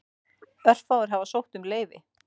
Örfáir hafa sótt um leyfi.